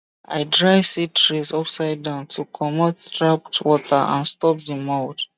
i dry seed trays upside down to comot trapped water and stop the mould